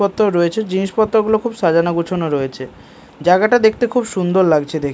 পত্তর রয়েছে জিনিসপত্রগুলো খুব সাজানো গুছানো রয়েছে জায়গাটা দেখতে খুব সুন্দর লাগছে দেখ--